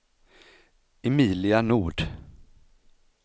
Emilia Nord